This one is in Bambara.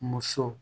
Muso